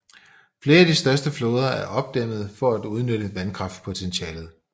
Flere af de største floder er opdæmmede for at udnytte vandkraftpotentialet